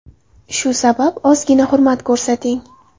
Shu sabab ozgina hurmat ko‘rsating.